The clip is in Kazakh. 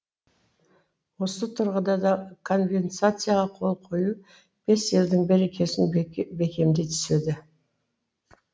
осы тұрғыда да конвенцияға қол қою бес елдің берекесін бекемдей түседі